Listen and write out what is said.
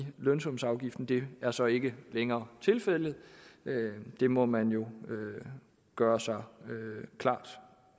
lønsumsafgiften det er så ikke længere tilfældet det må man jo gøre sig klart